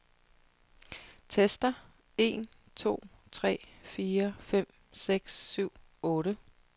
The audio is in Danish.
Tester en to tre fire fem seks syv otte.